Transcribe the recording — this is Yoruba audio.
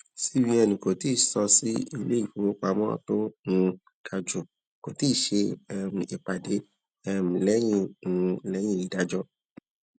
cbn kò tíì sọ si iléifówopámọ tó um ga jù kò ti ṣe um ìpàdé um lẹyìn um lẹyìn ìdájọ